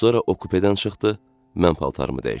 Sonra o kupedən çıxdı, mən paltarımı dəyişdim.